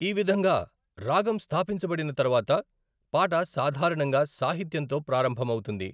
ఈ విధంగా రాగం స్థాపించబడిన తరువాత, పాట సాధారణంగా సాహిత్యంతో ప్రారంభమవుతుంది.